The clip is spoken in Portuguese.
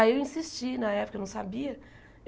Aí eu insisti na época, eu não sabia.